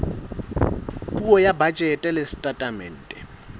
puo ya bajete le setatemente